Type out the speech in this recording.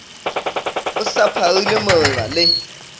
o sa pharile moreba le